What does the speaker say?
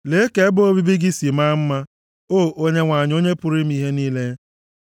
Lee ka ebe obibi gị sị maa mma, O Onyenwe anyị, Onye pụrụ ime ihe niile!